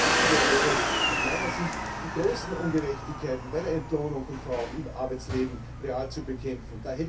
Viel wichtiger wäre es aus meiner Sicht, die großen Ungerechtigkeiten bei der Entlohnung von Frauen im Arbeitsleben real zu bekämpfen.